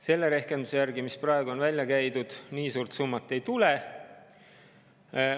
Selle rehkenduse järgi, mis praegu on välja käidud, nii suurt summat kokku ei tule.